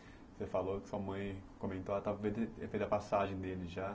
Você falou que sua mãe comentou ela fez a passagem dele já.